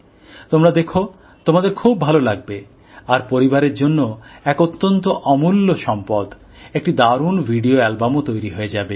তোমরা দেখো তোমাদের খুব ভালো লাগবে আর পরিবারের জন্য এক অত্যন্ত অমূল্য সম্পদ একটি দারুন ভিডিও অ্যালবামও তৈরি হয়ে যাবে